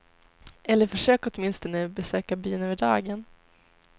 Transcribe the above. Eller försök åtminstone besöka byn över dagen.